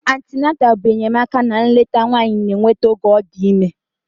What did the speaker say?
Antịnantal bụ enyemaka na nleta nwanyị na-enweta oge ọ dị ime.